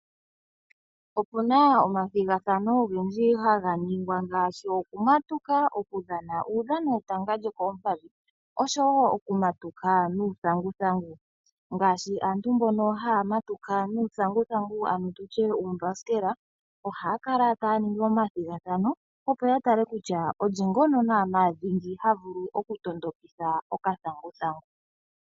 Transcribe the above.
Opuna omathigathano ogendji haga ningwa ngaashi oku matuka, oku dhana uudhano wetanga lyokoompadhi oshowo oku matuka nuuthanguthangu, ngaashi aantu mbono haya matuka nuuthanguthangu ano tutye uumbasikela, ohaya kala taya ningi omathigathano, opo ya tale kutya olye ngono naanaa dhingi ha vulu oku tondokitha okathanguthangu.